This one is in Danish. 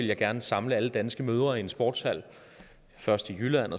jeg gerne samle alle danske mødre i en sportshal først i jylland